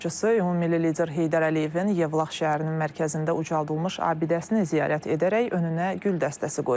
Dövlət başçısı ümummilli lider Heydər Əliyevin Yevlax şəhərinin mərkəzində ucaldılmış abidəsini ziyarət edərək önünə gül dəstəsi qoyub.